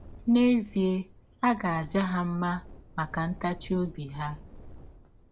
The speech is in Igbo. N’ezie a ga - aja ha mma maka ntachi ọbi ha.